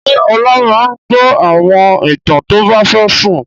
Ṣé Ọlá máa gbọ́ àwọn ìtàn tó bá fẹ́ sùn?